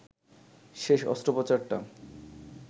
শেষ অস্ত্রোপচারটা